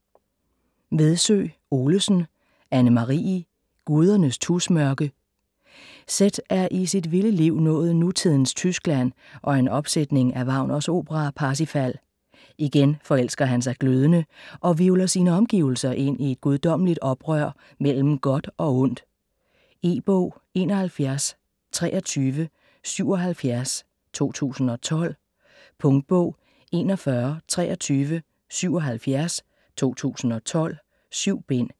Vedsø Olesen, Anne-Marie: Gudernes tusmørke Seth er i sit vilde liv nået nutidens Tyskland og en opsætning af Wagners opera Parsifal. Igen forelsker han sig glødende, og hvirvler sine omgivelser ind i et guddommeligt oprør mellem godt og ondt. E-bog 712377 2012. Punktbog 412377 2012. 7 bind.